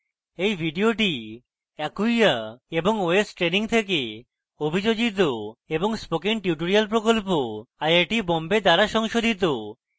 এই video acquia এবং ostraining থেকে অভিযোজিত এবং spoken tutorial প্রকল্প আইআইটি বোম্বে দ্বারা সংশোধিত